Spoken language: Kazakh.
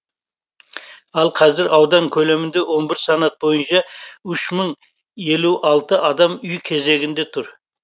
ал қазір аудан көлемінде он бір санат бойынша үш мың елу алты адам үй кезегінде тұр